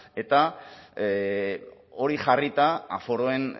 eta hori jarrita aforoen